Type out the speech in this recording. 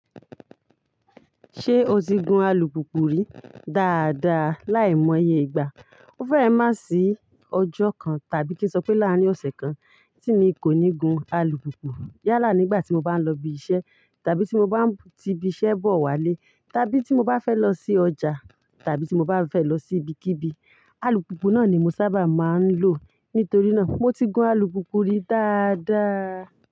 Ṣé o ti gun alùpùpù rí? Daadaa láìmọye ìgbà. Ó fẹ́e má sí ọjọ́ kan tàbí kí n sọ pé láàárín ọ̀sẹ̀ kan tí mi kò ní gun alùpùpù. Yálà nígbà tí mo bá ń lọ ibi iṣẹ́ tàbí tí mo bá ń ti ibi iṣẹ́ bọ̀ wálé tàbí tí mo bá fẹ́ lọ sí ọjà tàbí tí mo bá fẹ́ lọ sí ibikíbi, alùpùpù náà ni mo sábà máa ń lò. Nítorí náà mo ti gun alùpùpù rí daadaa.